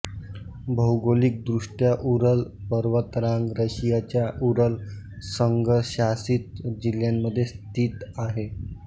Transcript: भौगोलिक दृष्ट्या उरल पर्वतरांग रशियाच्या उरल संघशासित जिल्ह्यामध्ये स्थित आहे